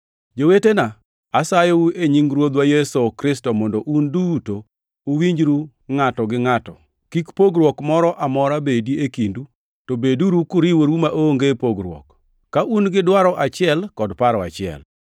Jowetena, asayou e nying Ruodhwa Yesu Kristo, mondo un duto uwinjru ngʼato gi ngʼato. Kik pogruok moro amora bedi e kindu, to beduru kuriworu maonge pogruok, ka un gi dwaro achiel kod paro achiel.